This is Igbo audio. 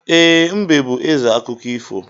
E, mbe bú ézè akụkọ ifo